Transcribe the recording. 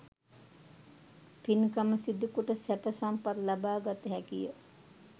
පින්කම සිදුකොට සැප සම්පත් ලබාගත හැකිය